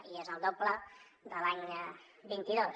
i és el doble de l’any vint dos